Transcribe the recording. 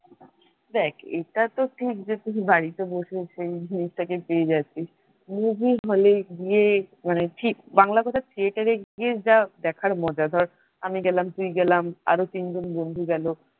দেখ এটা তো ঠিক যে তুই বাড়িতে বসেছে সেই জিনিসটাকে পেয়ে যাচ্ছিস movie হলে গিয়ে মানে ঠিক বাংলা কথা theater গিয়ে যা দেখার মজা ধর আমি গেলাম তুই গেলাম আরো তিনজন বন্ধু গেল।